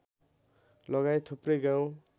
लगायत थुप्रै गाउँ